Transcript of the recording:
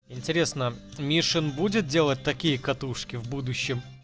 интересно мишин будет делать такие катушки в будущем